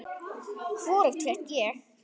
Hvorugt fékk ég.